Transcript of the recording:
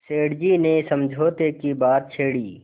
सेठ जी ने समझौते की बात छेड़ी